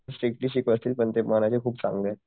Strictly शिकवत असतील पण ते मनाने खूप चांगलेत.